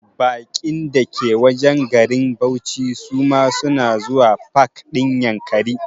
Baƙin da ke wajen garin bauchi su ma suna zuwa pak ɗin Yankari